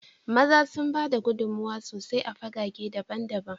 maza sun ba da gudummawa sosai a fagage daban-daban